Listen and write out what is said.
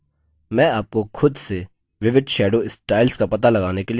मैं आपको खुद से विविध shadow styles का पता लगाने के लिए छोड़ता हूँ